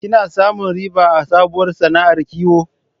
Kina samun riba a sabuwar sana'ar kiwo?